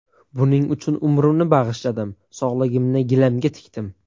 Buning uchun umrimni bag‘ishladim, sog‘lig‘imni gilamga tikdim.